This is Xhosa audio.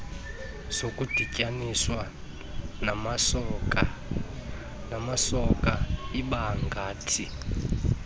zokudityaninswa namasoka ibangathi